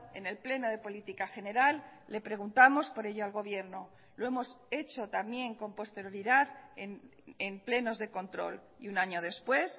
en el pleno de política general le preguntamos por ello al gobierno lo hemos hecho también con posterioridad en plenos de control y un año después